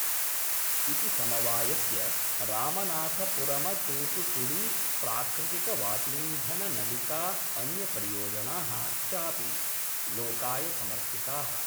इति समवायस्य रामनाथपुरमतूतूकुड़ी प्राकृतिकवातीन्धननलिका अन्यपरियोजना: चापि लोकाय समर्पिता:।